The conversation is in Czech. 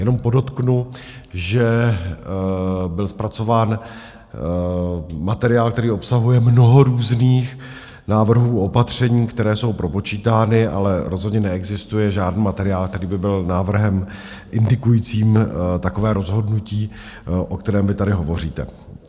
Jenom podotknu, že byl zpracován materiál, který obsahuje mnoho různých návrhů, opatření, které jsou propočítány, ale rozhodně neexistuje žádný materiál, který by byl návrhem indikujícím takové rozhodnutí, o kterém vy tady hovoříte.